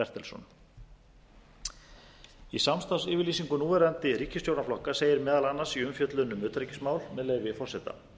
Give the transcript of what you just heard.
bertelsson í samstarfsyfirlýsingu núverandi ríkisstjórnarflokka segir meðal annars í umfjöllun um utanríkismál með leyfi forseta